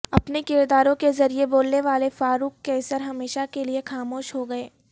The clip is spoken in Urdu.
اپنے کرداروں کے ذریعے بولنے والے فاروق قیصر ہمیشہ کے لیے خاموش ہو گئے